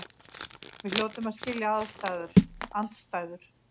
Við hljótum að skilja andstæður.